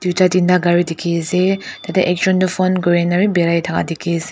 tinta gari dikhi ase tate ekjun toh phone kurina bi birai thaka dikhi ase.